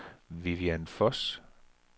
Vivian Voss